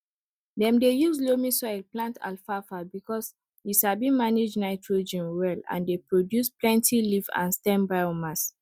dem dey use loamy soil plant alfalfa because e sabi manage nitrogen well and dey produce plenty leaf and stem biomass